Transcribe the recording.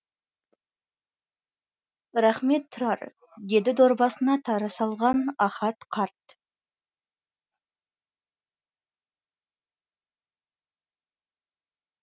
рақмет тұрар деді дорбасына тары салған ахат қарт